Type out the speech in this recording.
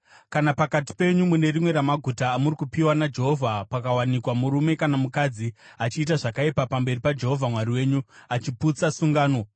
Kana pakati penyu mune rimwe ramaguta amuri kupiwa naJehovha pakawanikwa murume kana mukadzi achiita zvakaipa pamberi paJehovha Mwari wenyu, achiputsa sungano,